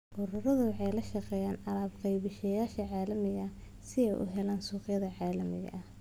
Ururadu waxay la shaqeeyaan alaab-qeybiyeyaasha caalamiga ah si ay u helaan suuqyada caalamiga ah.